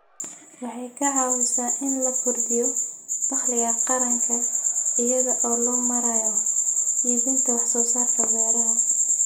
Waxay ka caawisaa in la kordhiyo dakhliga qaranka iyada oo loo marayo iibinta wax soo saarka beeraha.